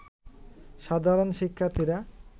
সাধারণ শিক্ষার্থীরা